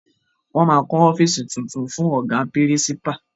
Wọn máa kọ ọ́fíìsì tuntun fún Ọ̀gá pírísípà